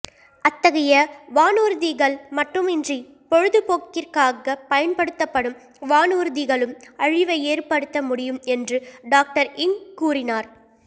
அத்தகைய வானூர்திகள் மட்டுமின்றி பொழுதுபோக்கிற்காகப் பயன்படுத்தப்படும் வானூர்திகளும் அழிவை ஏற்படுத்த முடியும் என்று டாக்டர் இங் கூறினார்